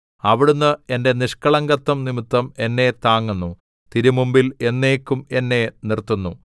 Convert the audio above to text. അവിടുന്ന് എന്റെ നിഷ്കളങ്കത്വം നിമിത്തം എന്നെ താങ്ങുന്നു തിരുമുമ്പിൽ എന്നേക്കും എന്നെ നിർത്തുന്നു